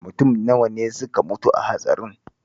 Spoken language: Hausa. Mutum nawa ne suka mutu a hatsarin?